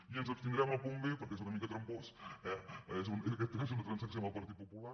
i ens abstindrem al punt b perquè és una mica tram·pós eh aquesta és una transacció amb el partit popu·lar